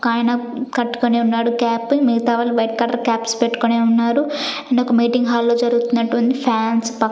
ఒకాయన కట్టుకొని ఉన్నాడు క్యాప్ మిగతావాళ్ళు వైట్ కలర్ కాప్స్ పెట్టుకొని ఉన్నారు అండ్ ఒక మీటింగ్ హాల్ లో జరుగుతున్నట్టు ఉంది ఫ్యాన్స్ ప--